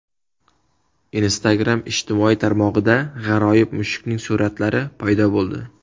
Instagram ijtimoiy tarmog‘ida g‘aroyib mushukning suratlari paydo bo‘ldi.